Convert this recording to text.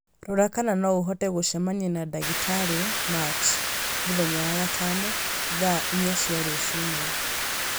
Rora kana no ũhote gũcemania na ndagĩtarĩ Machi mũthenya wa gatano, thaa inya cia rũcinĩ